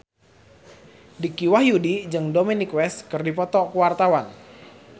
Dicky Wahyudi jeung Dominic West keur dipoto ku wartawan